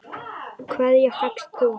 Hverja fékkst þú?